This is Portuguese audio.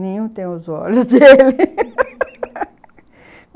Nenhum tem os olhos dele